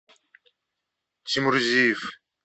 чемурзиев